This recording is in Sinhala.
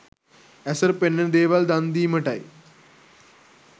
ඇසට පෙනෙන දේවල් දන්දීමටයි.